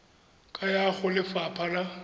ka ya go lefapha la